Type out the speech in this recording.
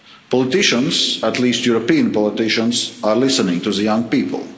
Politicians at least European politicians are listening to the young people.